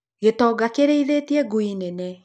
Gĩtonga kĩrĩithĩtie ngui nene.